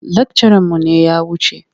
Lakcaranmu ne ya wuce.